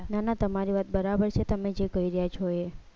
ના ના તમારી વાત બરાબર છે તમે જે કહી રહ્યા છો એ